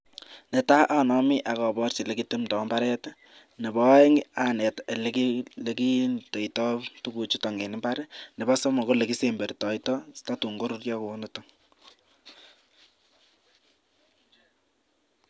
Ne tai, anami ak aporchi ole kitemdoi imbaaret, nebo aeng, aneet ole kindeitoi tuguuk chuto eng imbaar, nebo somok, ko olekisembertoito tatuun koruuryo kounito.